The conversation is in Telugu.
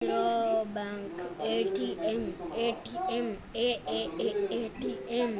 Andhra bank ATM ATM ATM